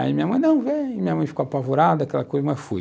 Aí minha mãe não veio, minha mãe ficou apavorada, aquela coisa, mas fui.